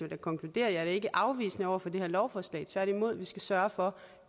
da konkludere at jeg ikke er afvisende over for det her lovforslag tværtimod vi skal bare sørge for